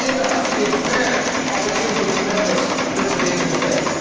I think there has to be a fair opportunity for Members to intervene in debate.